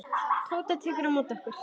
Tóta tekur á móti okkur.